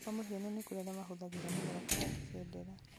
kwa mũhiano nĩkũrĩ arĩa mahũthagĩra mũtharaba na angĩ bendera